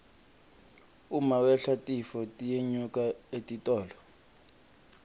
uma wehla titfo tiyenyuka etitolo